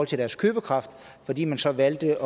til deres købekraft fordi man så valgte